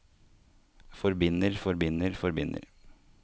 forbinder forbinder forbinder